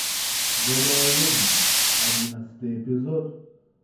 добрая ведьма одиннадцатый эпизод